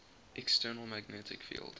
external magnetic field